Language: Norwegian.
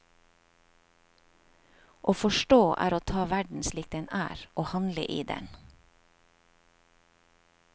Å forstå er å ta verden slik den er og handle i den.